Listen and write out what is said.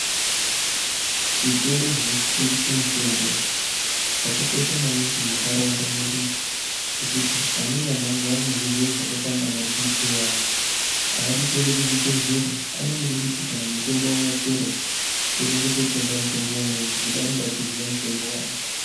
Zvitoro zvinotengese mitombo zvakakosha maningi mundaraunda mwedu ngekuti amweni antu, anorwara ngezvirwere zvakayita inga vabhipi vayana, aadi kuenda zvibhedhlera ,anongoda kuti kana mitombo wavo wapera, votoenda kotenga mutombo umweni, nokuti unenge achiziva mutombo waanenge achimwa.